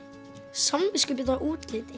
samviskubit yfir útliti